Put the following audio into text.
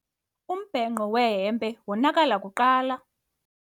Umbhenqo wehempe wonakala kuqala.